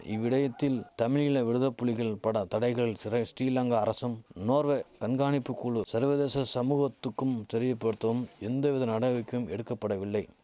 இவ்விடயத்தில் தமிழீழ விடுதபுலிகள் பட தடைகள் சிரே ஸ்டிலங்கா அரசும் நோர்வே கண்காணிப்பு குழு சர்வதேச சமூகத்துக்கும் தெரியபடுத்தவும் எந்தவித நடவக்கைகும் எடுக்கபடவில்லை